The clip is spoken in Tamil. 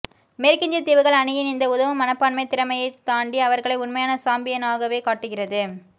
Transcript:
மேற்கிந்திய தீவுகள் அணியின் இந்த உதவும் மனப்பான்மை திறமையைத் தாண்டி அவர்களை உண்மையான சாம்பியனாகவே காட்டுகிறது